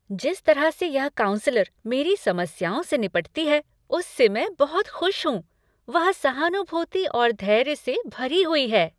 जिस तरह से यह काउंसलर मेरी समस्याओं से निपटती है उससे मैं बहुत खुश हूँ। वह सहानुभूति और धैर्य से भरी हुई है।